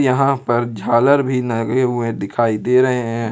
यहां पे झालर भी लगे हुए दिखाई दे रहे हैं।